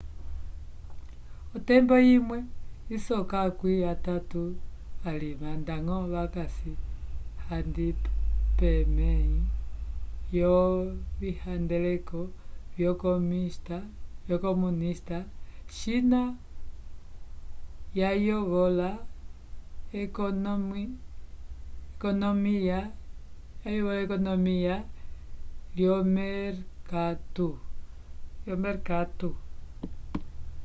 otembo imwe isoka akwĩ atatu valima ndañgo vakasi handi pemẽhi lyovihandeleko vyo comunista china yayovola ekonomiya lyomerkatu